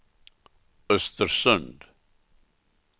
Östersund